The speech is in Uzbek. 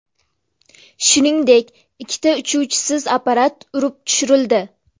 Shuningdek, ikkita uchuvchisiz apparat urib tushirildi.